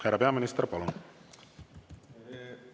Härra peaminister, palun!